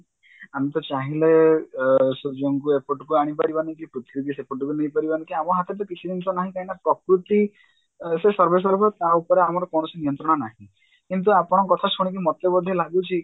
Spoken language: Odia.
ଆମେ ତ ଚାହିଁଲେ ଅ ସୂର୍ଯ୍ୟଙ୍କୁ ଏପଟକୁ ଆଣିପାରିବାନି କି ପୃଥିବୀକୁ ସେପଟକୁ ନେଇପାରିବାନି କି ଆମ ହାତରେ ତ କିଛି ବି ଜିନିଷ ନାହିଁ କାହିଁକିନା ପ୍ରକୃତି ସେ ସର୍ବେସର୍ବ ତା ଉପରେ ଆମର କୌଣସି ନିୟନ୍ତ୍ରଣ ନାହିଁ କିନ୍ତୁ ଆପଣଙ୍କ କଥା ଶୁଣିକି ମୋତେ ବୋଧେ ଲାଗୁଛି